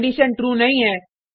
condition true नहीं है